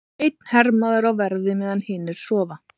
Einn hermaður á verði meðan hinir sofa.